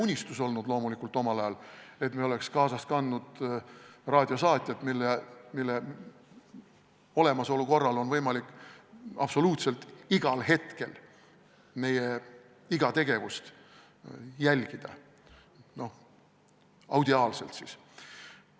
See oli omal ajal loomulikult KGB unistus, et me oleks kaasas kandnud raadiosaatjat, mille olemasolu korral on võimalik absoluutselt igal hetkel meie iga tegevust audiaalselt jälgida.